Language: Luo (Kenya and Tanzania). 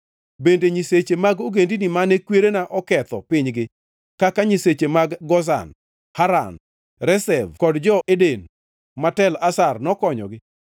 Bende nyiseche mag ogendini mane kwerena oketho pinygi kaka nyiseche mag Gozan, Haran, Rezef kod jo-Eden man Tel Assar nokonyogi?